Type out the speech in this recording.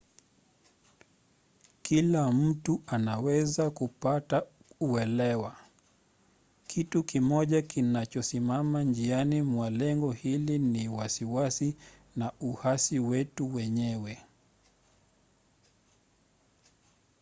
kila mtu anaweza kupata uelewa. kitu kimoja kinachosimama njiani mwa lengo hili ni wasiwasi na uhasi wetu wenyewe